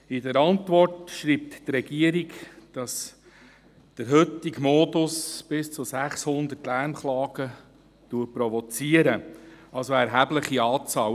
In der Antwort schreibt die Regierung, dass der heutige Modus bis zu 600 Lärmklagen provoziert – also eine erhebliche Anzahl.